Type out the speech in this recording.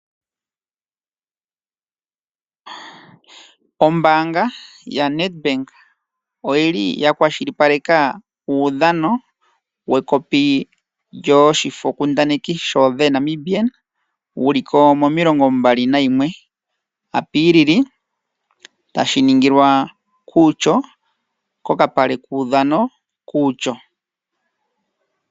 Ombaanga ya Nedbank oyili ya kwashilipaleka uudhano wekopi lyoshifokundaneki sho the Namibian wuliko mo21 Apilili tashi ningilwa kUutjo kokapale kuudhano kUutjo.